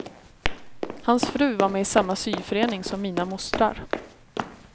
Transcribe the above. Hans fru var med i samma syförening som mina mostrar.